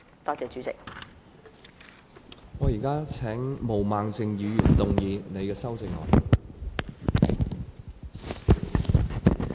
我現在請毛孟靜議員動議修正案。